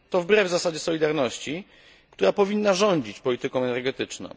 To wbrew zasadzie solidarności, która powinna rządzić polityką energetyczną.